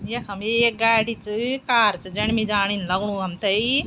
यखम एक गाड़ी च कार च जण मि जान इन लगणु हम्थे।